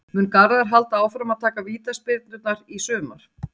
Mun Garðar halda áfram að taka vítaspyrnurnar í sumar?